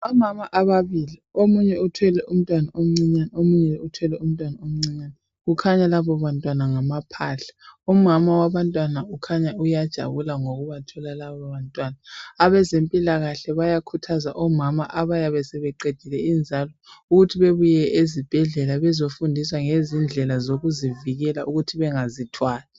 Omama ababili. Omunye uthwele umntwana omncinyane, omunye uthwele umntwana omncinyane. Kukhanya labo bantwana ngamaphahla. Umama wabantwana ukhanya uyajabula ngokubathola labo bantwana .Abezempilakahle bayakhuthaza omama abayabe sebeqedile inzalo ukuthi bebuye ezibhedlela bezofundiswa ngezindlela zokuzivikela ukuthi bengazithwali.